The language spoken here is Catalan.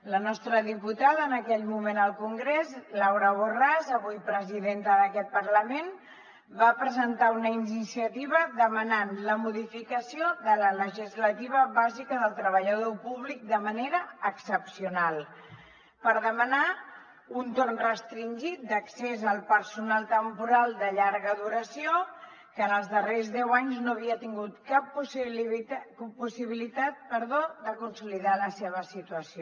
la nostra diputada en aquell moment al congrés laura borràs avui presidenta d’aquest parlament va presentar una iniciativa demanant la modificació de la legislativa bàsica del treballador públic de manera excepcional per demanar un torn restringit d’accés al personal temporal de llarga duració que en els darrers deu anys no havia tingut cap possibilitat de consolidar la seva situació